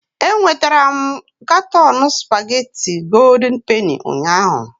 Enwetara m katọn spagéti Gòldin Penì ụnyahụ